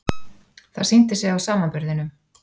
Það sýndi sig á samanburðinum.